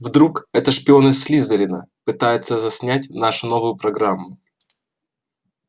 вдруг это шпион из слизерина пытается заснять нашу новую программу